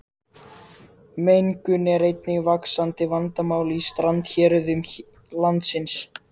Mengun er einnig vaxandi vandamál í strandhéruðum landsins.